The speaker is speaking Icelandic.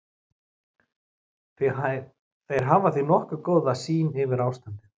Þeir hafa því nokkuð góða sýn yfir ástandið.